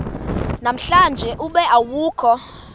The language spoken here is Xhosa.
namhlanje ube awukho